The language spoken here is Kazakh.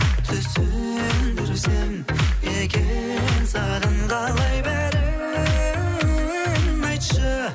түсіндірсем екен саған қалай беремін айтшы